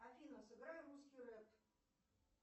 афина сыграй русский рэп